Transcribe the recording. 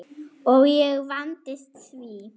Og ég vandist því.